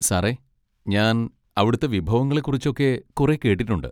സാറെ ഞാൻ അവിടുത്തെ വിഭവങ്ങളെ കുറിച്ചൊക്കെ കുറേ കേട്ടിട്ടുണ്ട്.